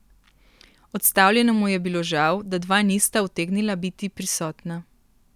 Odstavljenemu je bilo žal, da dva nista utegnila biti prisotna.